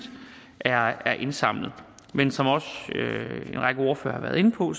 er er indsamlet men som også en række ordførere har været inde på